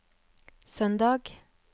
søndag